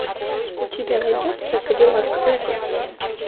у тебя найдется кадиллак рекордс